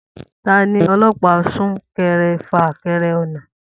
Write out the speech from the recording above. Ta ni ọlọ́pàá sún kẹrẹ fà kẹrẹ náà?